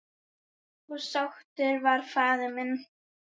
Og sáttur var faðir minn.